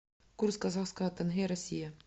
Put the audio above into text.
курс казахского тенге россия